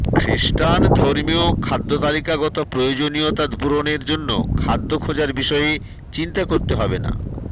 খৃস্টান ধর্মীয় খাদ্যতালিকাগত প্রয়োজনীয়তা পূরণের জন্য খাদ্য খোঁজার বিষয়ে চিন্তা করতে হবে না